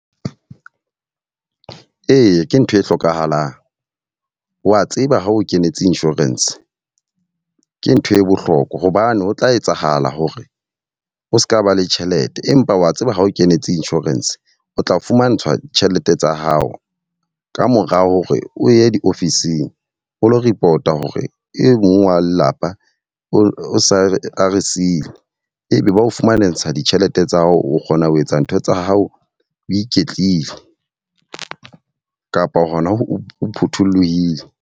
Eya, ke ntho e hlokahalang. Wa tseba ha o kenetse insurance, ke ntho e bohlokwa hobane ho tla etsahala hore o ska ba le tjhelete. Empa wa tseba ha o kenetse insurance, o tla fumantshwa tjhelete tsa hao kamora hore o ye diofising o lo report hore e mong wa lelapa o sa a re sile. E be ba o fumantsha ditjhelete tsa hao, o kgona ho etsa ntho tsa hao o iketlile kapa hona o phuthollohile.